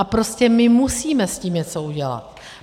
A prostě my musíme s tím něco udělat.